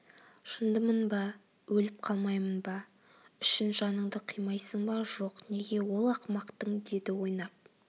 жындымын ба өліп қалмайым ба үшін жаныңды қимайсың ба жоқ неге ол ақымақтың деді ойнап